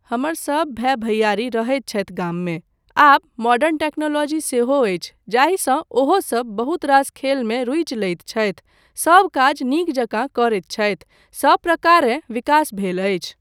हमर सब भाय भैआरी रहैत छथि गाममे, आब मॉडर्न टेक्नोलॉजी सेहो अछि जाहिसँ ओहोसब बहुत रास खेलमे रूचि लैत छथि, सब काज नीक जकाँ करैत छथि, सब प्रकारेँ विकास भेल अछि।